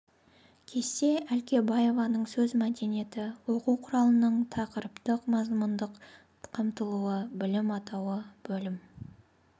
кесте әлкебаеваның сөз мәдениеті оқу құралының тақырыптықмазмұндық қамтылуы бөлім атауы бөлім